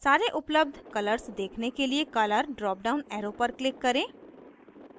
सारे उपलब्ध colours देखने के लिए color drop down arrow पर click करें